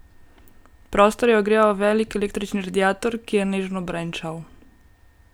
Prostor je ogreval velik električni radiator, ki je nežno brenčal.